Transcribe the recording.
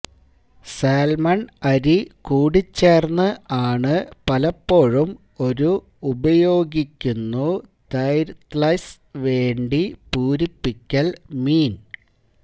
salmon അരി കൂടിച്ചേർന്ന് ആണ് പലപ്പോഴും ഒരു ഉപയോഗിക്കുന്നു തര്ത്ലെത്സ് വേണ്ടി പൂരിപ്പിക്കൽ മീൻ